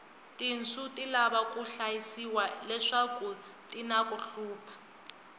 tinsu ti lava ku hlayisiwa leswaku tinaku hluphi